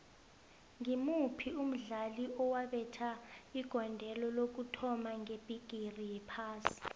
ngimuphi umdlali owabetha igondelo lokuthoma ngebhigiri yephasi